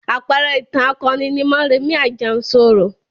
Àpẹẹrẹ ìtàn akoni ni Mọ́rẹmì Àjànsorò.